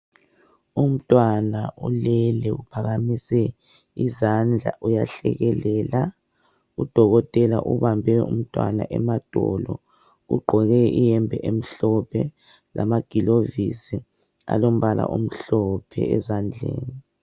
Umntwana ulele uphakamise izandla uyahlekelela udokotela ubambe umntwana emadolo ugqoke iyembe emhlophe lamagilovisi alombala omhlophe ezandleni.